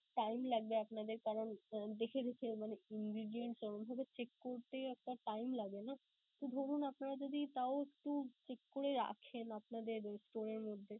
time লাগবে আপনাদের কারন দেখে দেখে মানে ingredience অমনভাবে check করতে আপনার একটা time লাগে না? তো ধরুন আপনারা যদি তাও একটু check করে রাখেন আপনাদের store এর মধ্যে